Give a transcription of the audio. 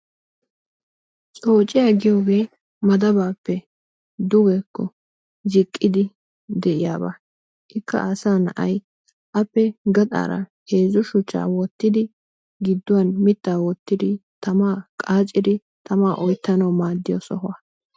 coociyaa giyoogee madabaappe dugeko ziiqqidi de'iyaaba. Ikka asaa na'ay appe gaxaara heezzu shuchchaa wottidi gidduwaan miittaa woottidi tamaa qaaccidi tamaa oyttanawu maaddiyaa sohuwaa.